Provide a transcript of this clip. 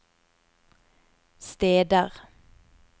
steder